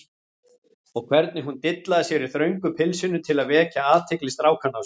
Og hvernig hún dillaði sér í þröngu pilsinu til að vekja athygli strákanna á sér!